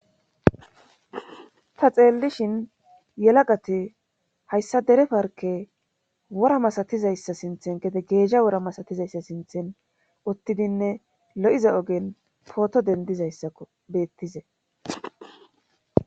Ta xeellishin yalagati hayssa dere parkke wora masatizayssa sinthen gede geezha wora masatizaysa sinthen uttidinne lo7iza ogen pooto denddizayssako beettizay